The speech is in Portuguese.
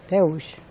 Até hoje.